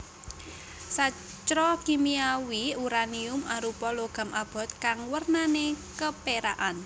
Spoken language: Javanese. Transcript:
Sacra Kimiawi uranium arupa logam abot kang wernané kepérakan